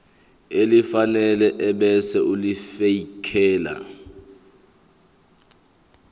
elifanele ebese ulifiakela